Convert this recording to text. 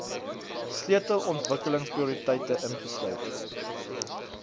sleutel ontwikkelingsprioriteite insluit